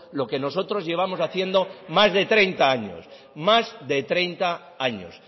lo que nosotros llevamos haciendo más de treinta años más de treinta años